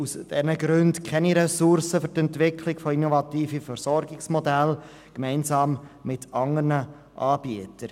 Aus diesen Gründen stehen ihnen keine Ressourcen für die gemeinsame Entwicklung innovativer Versorgungsmodelle zur Verfügung.